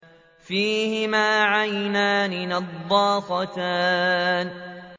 فِيهِمَا عَيْنَانِ نَضَّاخَتَانِ